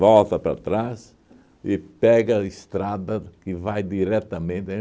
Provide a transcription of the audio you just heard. para trás e pega a estrada que vai diretamente. Aí